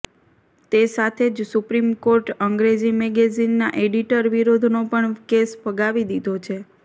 તે સાથે જ સુપ્રિમ કોર્ટ અંગ્રેજી મેગેઝિનના એડિટર વિરૂદ્ધનો પણ કેસ ફગાવી દીધો છે